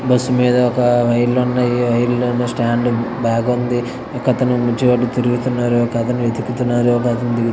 bus మీద ఒక రైలు ఉన్నాయి స్టాండ్ బాగుంది--